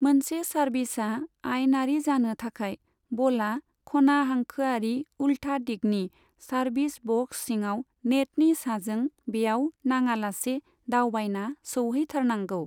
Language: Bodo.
मोनसे सार्भिसा आइनारि जानो थाखाय बला खनाहांखोआरि उल्था दिगनि सार्भिस बक्स सिङाव नेटनि साजों बेयाव नाङालासे दावबायना सौहैथारनांगौ।